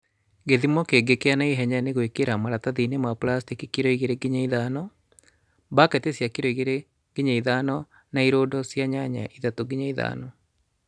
Gĩthimo kĩngĩ kĩa naihenya nĩ gwĩkĩra maratathiinĩ ma plastĩki kilo 2-5,baketi cia kilo 2-5 na irũndo cia nyanya 3-5